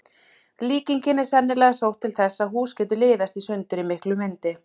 Líkingin er sennilega sótt til þess að hús getur liðast í sundur í miklum vindi.